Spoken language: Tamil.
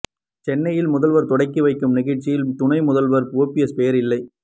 சென்னையில் முதல்வர் தொடங்கி வைக்கும் நிகழ்ச்சியில் துணை முதல்வர் ஓபிஎஸ் பெயர் இல்லை